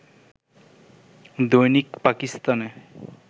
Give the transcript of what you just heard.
দৈনিক পাকিস্তান-এ